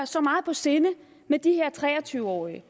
så meget på sinde med de her tre og tyve årige